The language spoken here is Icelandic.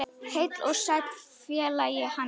Heill og sæll félagi Hannes!